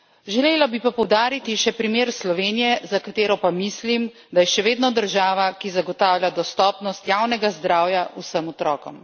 Želela bi pa poudariti še primer Slovenije, za katero pa mislim, da je še vedno država, ki zagotavlja dostopnost javnega zdravja vsem otrokom.